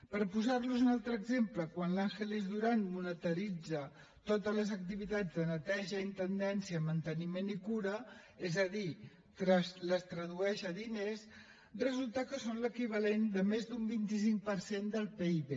per posar los en un altre exemple quan l’ángeles durán monetitza totes les activitats de neteja intendència manteniment i cura és a dir les tradueix a diners resulta que són l’equivalent a més d’un vint cinc per cent del pib